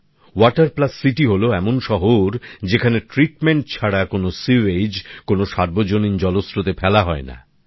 water plus city হল এমন শহর যেখানে ট্রিটমেন্ট ছাড়া কোন পয়ঃনিষ্কাসী জল কোন সার্বজনীন জলস্রোতে ফেলা হয় না